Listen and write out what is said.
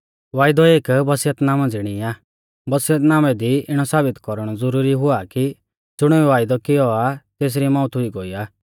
वायदौ एक वसियतनामै ज़िणी आ वसियतनामै दी इणौ साबित कौरणौ ज़ुरुरी हुआ कि ज़ुणीऐ वायदौ कियौ आ तेसरी मौउत हुई गोई आ